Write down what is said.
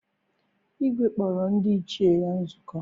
Igwe kpọrọ ndị ichie ya nzukọ.